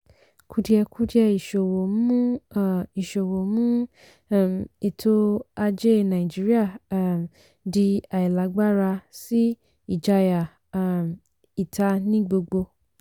kùdìẹ̀kudiẹ ìsòwò mú um ìsòwò mú um ètò ajé nàìjíríà um di àìlágbára sí ìjayà um ìta ní gbogbo.